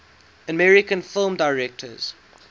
american film directors